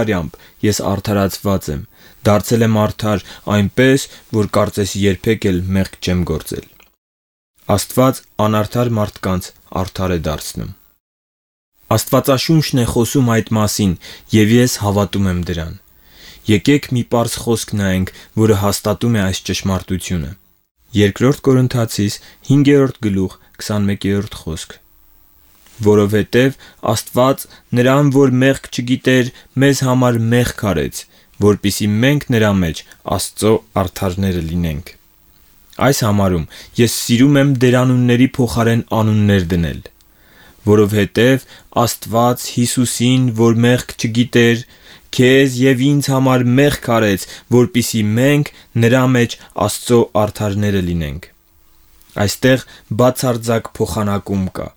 արյամբ ես արդարացված եմ, դարձել եմ արդար այնպես, որ կարծես երբեք էլ մեղք չեմ գործել։ Աստված անարդար մարդկանց արդար է դարձնում։ Աստվածաշունչն է այդ մասին ասում, և ես հավատում եմ դրան։ Եկե՛ք մի պարզ խոսք նայենք, որը հաստատում է այս ճշմարտությունը. «Որովհետև Աստված նրան, որ մեղք չգիտեր, մեզ համար մեղք արեց, որպեսզի մենք նրա մեջ Աստծո արդարները լինենք» (2-րդ Կորնթացիների 5։21)։ Այս համարում ես սիրում եմ դերանունների փոխարեն անուններ դնել. «Որովհետև Աստված Հիսուսին, որ մեղք չգիտեր, քեզ և ինձ համար մեղք արեց, որպեսզի մենք նրա մեջ Աստծո արդարները լինենք»։ Այստեղ բացարձակ փոխանակում կա.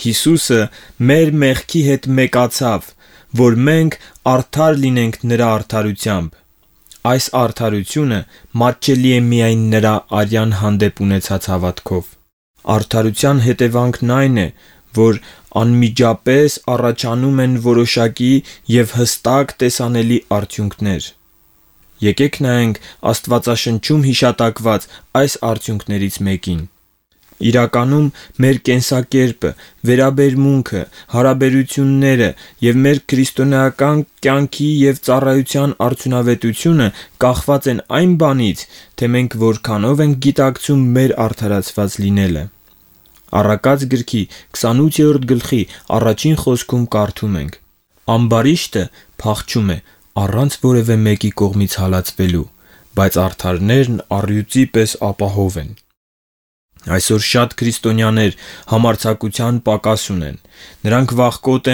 Հիսուսը մեր մեղքի հետ մեկացավ, որ մենք արդար լինենք նրա արդարությամբ։ Այս արդարությունը մատչելի է միայն նրա արյան հանդեպ ունեցած հավատքով։ Արդարության հետևանքն այն է, որ անմիջապես առաջանում են որոշակի և հստակ տեսանելի արդյունքներ։ Եկե՛ք նայենք Աստվածաշնչում հիշատակված այս արդյունքներից մեկին։ Իրականում մեր կենսակերպը, վերաբերմունքը, հարաբերությունները և մեր քրիստոնեական կյանքի և ծառայության արդյունավետությունը կախված է այն բանից, թե մենք որքանով ենք գիտակցում մեր արդարացված լինելը։ Առակաց 28:1-ում կարդում ենք. «Ամբարիշտը փախչում է առանց որևէ մեկի կողմից հալածվելու, բայց արդարներն առյուծի պես ապահով են»։ Այսօր շատ քրիստոնյաներ համարձակության պակաս ունեն։ Նրանք վախկոտ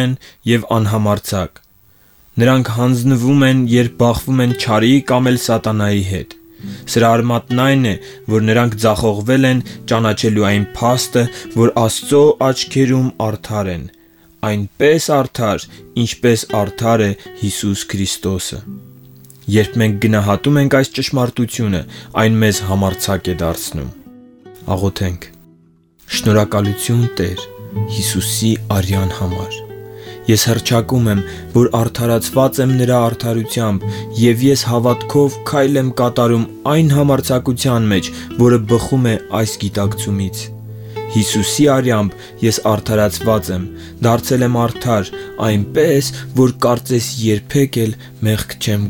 և անհամարձակ են։ Նրանք հանձնվում են, երբ բախվում են չարին կամ էլ սատանայի հետ։ Սրա արմատն այն է, որ նրանք ձախողվել են ճանաչելու այն փաստը, որ Աստծո աչքերում արդար են՝ այնպես արդար, ինչպես Հիսուս Քրիստոսն է։ Երբ մենք գնահատում ենք այս ճշմարտությունը, այն մեզ համարձակ է դարձնում։ Շնորհակալությու՛ն, Տե՛ր, Հիսուսի արյան համար։ Ես հռչակում եմ, որ արդարացված եմ նրա արդարությամբ և ես հավատքով քայլ եմ կատարում այն համարձակության մեջ, որը բխում է այս գիտակցումից։ Հիսուսի արյամբ ես արդարացված եմ, դարձել եմ արդար այնպես, որ կարծես երբեք էլ մեղք չեմ